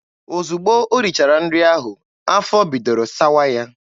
Ozugbo o richara nri ahụ, afọ bidoro sawa ya.